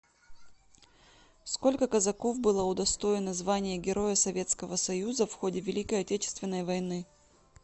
сколько казаков было удостоено звания героя советского союза в ходе великой отечественной войны